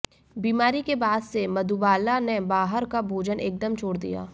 बीमारी के बाद से मधुबाला ने बाहर का भोजन एकदम छोड़ दिया